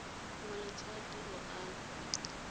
malatsi a tiro a le